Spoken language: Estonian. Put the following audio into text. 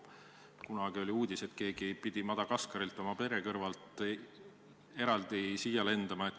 Kunagi oli uudis, et keegi pidi Madagaskarilt oma pere kõrvalt eraldi siia lendama.